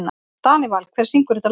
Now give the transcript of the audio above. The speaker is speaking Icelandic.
Danival, hver syngur þetta lag?